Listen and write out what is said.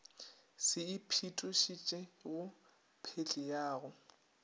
se iphetošitšego phehli ya go